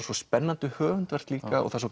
svo spennandi höfundarverk líka og